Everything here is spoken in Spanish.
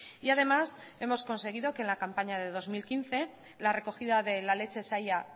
y además hemos conseguido que en la campaña de dos mil quince la recogida de la leche se haya